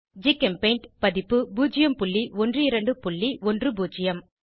ஜிகெம்பெய்ண்ட் பதிப்பு 01210